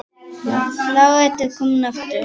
Flauel er komið aftur.